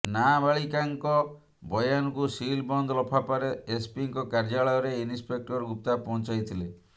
ନାବାଳିକାଙ୍କ ବୟାନକୁ ସିଲ୍ ବନ୍ଦ ଲଫାପାରେ ଏସ୍ପିଙ୍କ କାର୍ଯ୍ୟାଳୟରେ ଇନ୍ସପେକ୍ଟର ଗୁପ୍ତା ପହଞ୍ଚାଇଥିଲେ